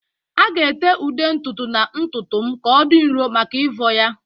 A ga-ete ude ntutu na ntutu m ka ọ dị nro maka ịvọ ya